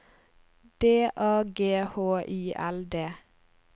D A G H I L D